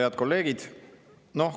Head kolleegid!